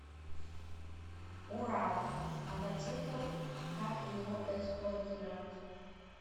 урал мотоцикл как его эксплуатировать